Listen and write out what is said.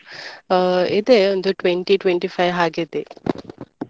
ಆ ಇದೆ ಒಂದು twenty twenty-five ಹಾಗಿದೆ.